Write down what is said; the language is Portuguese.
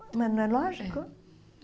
Mas não é lógico? É